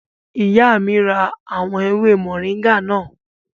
Ìyá mi ra àwọn ewé mọ̀ríńgà náà